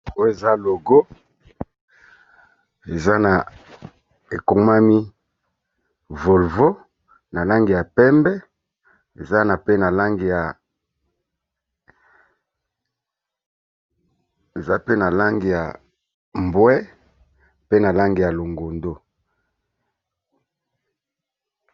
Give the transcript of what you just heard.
Oyo eza logo eza na ekomami Volvo. Na langi ya pembe, eza na pe na langi ya mbwe, pe na langi ya longondo.